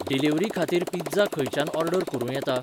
Delivery खातीर pizza खंयच्यान order करूं येता ?